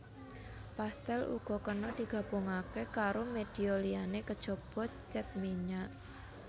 Pastel uga kena digabungaké karo media liyané kejaba cat minyak